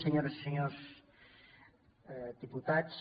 senyores i senyors diputats